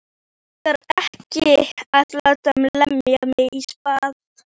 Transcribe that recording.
Mig langar ekki að láta lemja mig í spað.